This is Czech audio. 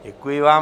Děkuji vám.